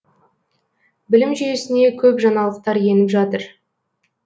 білім жүйесіне көп жаңалықтар еніп жатыр